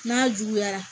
N'a juguyara